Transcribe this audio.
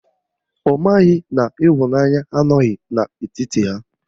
Ọ maghị na ịhụnanya adịghị n'etiti ha